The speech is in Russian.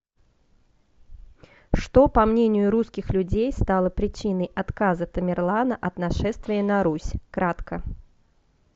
что по мнению русских людей стало причиной отказа тамерлана от нашествия на русь кратко